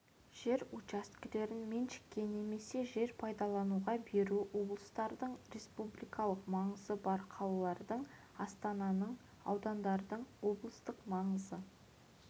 жер учаскелерін меншікке немесе жер пайдалануға беруді облыстардың республикалық маңызы бар қалалардың астананың аудандардың облыстық маңызы